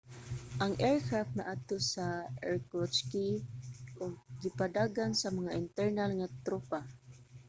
ang aircraft naadto sa irkutsk ug gipadagan sa mga internal nga tropa